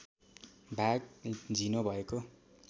भाग झिनो भएको